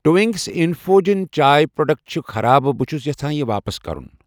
Twinings infusion چاے product چھ خراب ،بہٕ چھس یژھان یہِ واپس کرُن۔